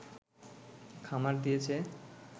খামার দিয়েছে